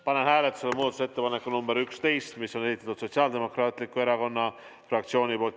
Panen hääletusele muudatusettepaneku number 11, mis on Sotsiaaldemokraatliku Erakonna fraktsiooni esitatud.